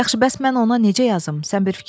Yaxşı, bəs mən ona necə yazım?